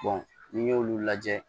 n'i y'olu lajɛ